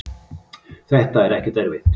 þetta er ekkert erfitt.